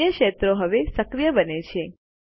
અન્ય ક્ષેત્રો હવે સક્રિય બને છે